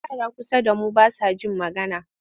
Yara kusa da mu ba sa jin magana.